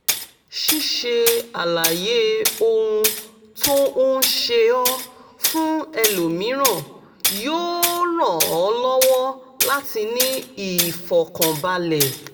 ṣíṣe àlàyé ohun tó ń ṣe ọ́ fún ẹlòmíràn yóò ràn ọ́ lọ́wọ́ láti ní ìfọ̀kànbalẹ̀